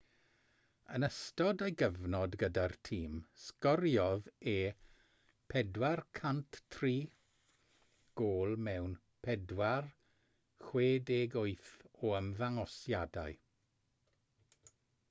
yn ystod ei gyfnod gyda'r tîm sgoriodd e 403 gôl mewn 468 o ymddangosiadau